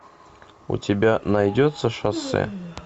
у тебя найдется шоссе